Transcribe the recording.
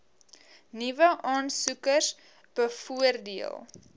nuwe aansoekers bevoordeel